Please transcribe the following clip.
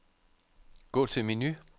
Gå til menu.